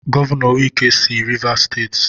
Gọvanọ wike si Rivas Steeti.